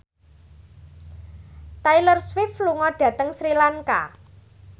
Taylor Swift lunga dhateng Sri Lanka